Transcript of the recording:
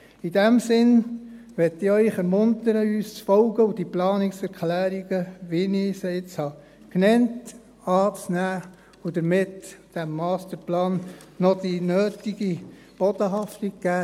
In diesem Sinne möchte ich Sie ermuntern, uns zu folgen und die Planungserklärungen, wie ich sie jetzt genannt habe, anzunehmen und damit diesem Masterplan noch die nötige Bodenhaftung zu geben.